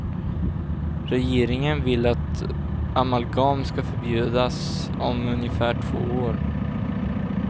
Regeringen vill att amalgam ska förbjudas om ungefär två år.